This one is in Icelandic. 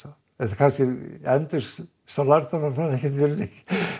kannski endist sá lærdómur manni ekkert